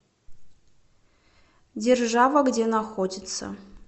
держава где находится